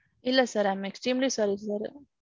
இல்ல sir. I am extremely sorry sir.